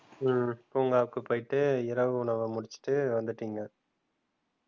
உம் பூங்காவுக்கு போயிட்டு இரவு உணவ முடிச்சுட்டு வந்துட்டீங்க.